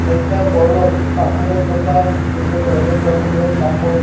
একটা বড় কাপড়ের দোকান যেখানে অনেক রকমের কাপড় --